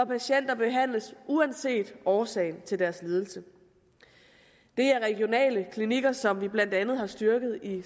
patienter behandles uanset årsagen til deres lidelse det er regionale klinikker som vi blandt andet har styrket i